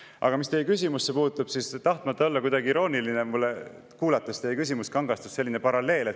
Aga mis teie küsimusse puutub, siis tahtmata olla kuidagi irooniline, kuulates teie küsimust, kangastus mulle selline paralleel.